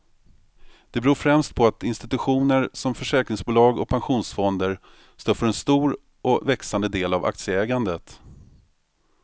Det beror främst på att institutioner som försäkringsbolag och pensionsfonder står för en stor och växande del av aktieägandet.